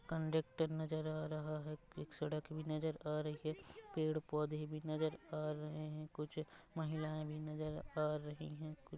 conductor नज़र आ रहा है कुछ सड़क भी नज़र आ रही है पेड़-पौधे भी नज़र आ रहे है कुछ महिलाए भी नज़र आ रही है कू--